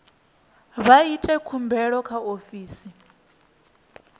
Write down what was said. vha ite khumbelo kha ofisi